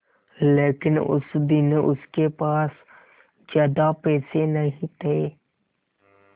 लेकिन उस दिन उसके पास ज्यादा पैसे नहीं थे